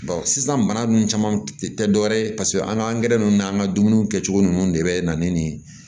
sisan bana nunnu caman tɛ dɔwɛrɛ ye paseke an ga angɛrɛ nunnu n'an ka dumuni kɛcogo nunnu de bɛ na ni nin ye